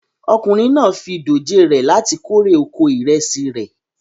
Ọkùnrin náà fi dòjé re láti kórè oko ìrẹsì rẹ̀